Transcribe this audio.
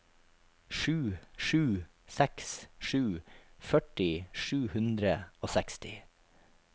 sju sju seks sju førti sju hundre og seksti